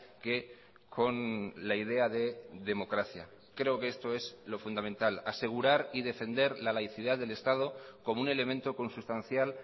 que con la idea de democracia creo que esto es lo fundamental asegurar y defender la laicidad del estado como un elemento consustancial